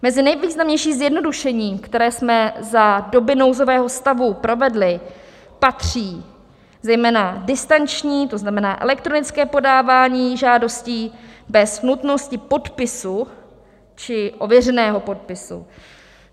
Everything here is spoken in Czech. Mezi nejvýznamnější zjednodušení, která jsme za doby nouzového stavu provedli, patří zejména distanční, to znamená elektronické podávání žádostí bez nutnosti podpisu či ověřeného podpisu.